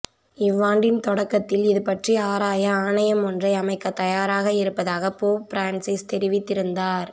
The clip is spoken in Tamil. இவ்வாண்டின் தொடக்கத்தில் இது பற்றி ஆராய ஆணையம் ஒன்றை அமைக்க தயாராக இருப்பதாக போப் பிரான்சிஸ் தெரிவித்திருந்தார்